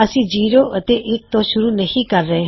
ਅਸੀਂ ਜ਼ੀਰੋ ਅਤੇ ਫੇਰ ਇੱਕ ਤੋਂ ਸ਼ੁਰੂ ਨਹੀ ਕਰ ਰਹੇ